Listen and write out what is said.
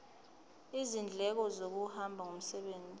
izindleko zokuhamba ngomsebenzi